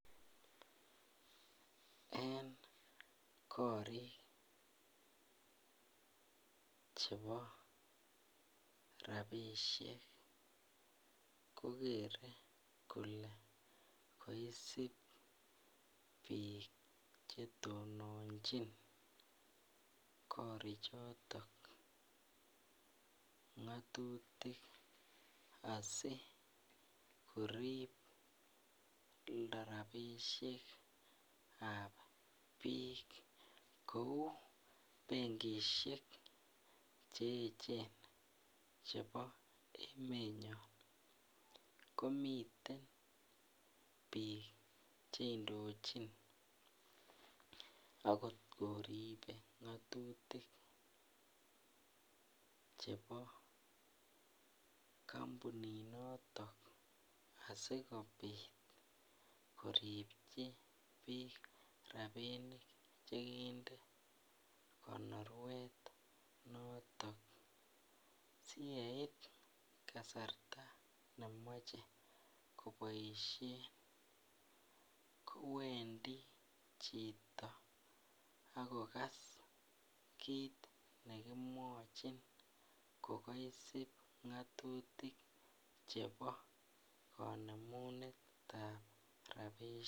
En korik chebo rapisiek kogere kole koisib biik che tononchin korik choton ngatutik asigorib rapisiek ab biik kou bengisiek cheechen chebo emenyon komiten biik cheindochin agot koribe ngatutik chebo kambunit noton asigobiit koribchi biik rapinik che kinde konorwet notet asiyeit kasarta nemoche koboisien kowendi chito kiit nekimwachi kokaisub agob kanemunet ab rapisiek